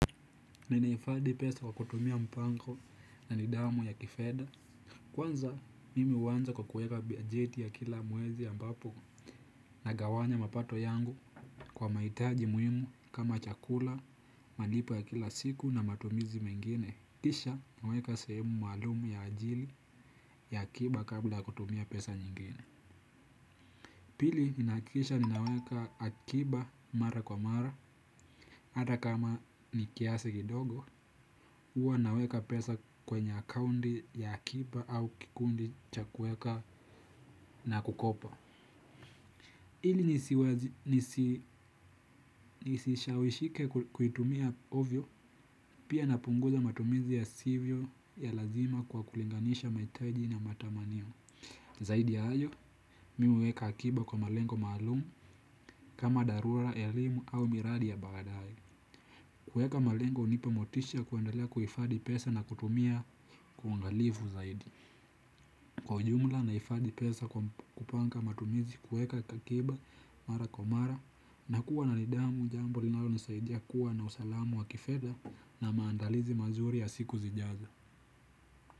Ninahifadhi pesa kwa kutumia mpango na nidhamu ya kifedha kwanza mimi huanza kwa kuweka bajeti ya kila mwezi ambapo nagawanya mapato yangu kwa mahitaji muhimu kama chakula, malipo ya kila siku na matumizi mengine. Kisha naweka sehemu maalumu ya ajili ya akiba kabla kutumia pesa nyingine. Pili, ni nahakikisha ninaweka akiba mara kwa mara, hata kama ni kiasi kidogo, huwa naweka pesa kwenye akaunti ya akiba au kikundi cha kuweka na kukopa. Ili nisishawishike kuitumia ovyo, pia napunguza matumizi yasivyo ya lazima kwa kulinganisha mahitaji na matamanio. Zaidi ya hayo, mimi huweka akiba kwa malengo maalumu kama dharura, elimu au miradi ya baadae. Kuweka malengo hunipa motisha ya kuendelea kuhifadhi pesa na kutumia kwa uangalivu zaidi. Kwa ujumla nahifadhi pesa kwa kupanga matumizi kuweka akiba mara kwa mara na kuwa na nidhamu jambo linalonisaidia kuwa na usalamu wa kifedha na maandalizi mazuri ya siku zijazo.